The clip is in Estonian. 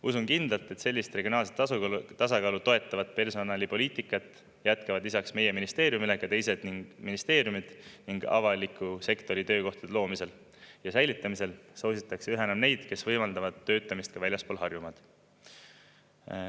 Usun kindlalt, et sellist regionaalset tasakaalu toetavat personalipoliitikat jätkavad lisaks meie ministeeriumile ka teised ministeeriumid ning et avaliku sektori töökohtade loomisel ja säilitamisel soositakse üha enam neid, kes võimaldavad töötamist ka väljaspool Harjumaad.